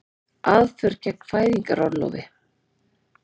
Aðför gegn fæðingarorlofi